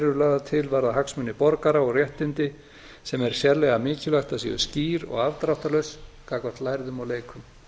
eru lagðar til varða hagsmuni borgara og réttindi sem er sérlega mikilvægt að séu skýr og afdráttarlaus gagnvart lærðum og leikum